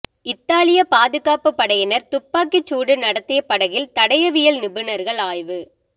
இத்தாலிய பாதுகாப்பு படையினர் துப்பாக்கிச்சூடு நடத்திய படகில் தடயவியல் நிபுணர்கள் ஆய்வு